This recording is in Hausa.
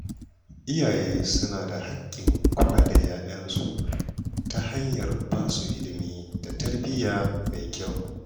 Iyaye suna da haƙƙin kula da 'ya'yansu ta hanyar ba su ilimi da tarbiyya mai kyau.